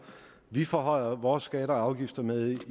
vi forhøjer vores skatter og afgifter med i